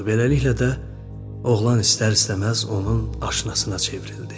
Beləliklə də oğlan istər-istəməz onun aşinasına çevrildi.